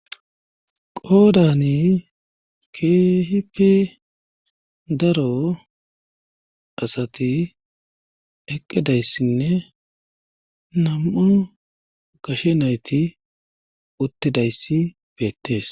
qoodani keehipi daro asati eqqedayssinne nam7u gashe nayti uttidayssi beettees